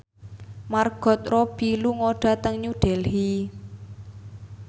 Margot Robbie lunga dhateng New Delhi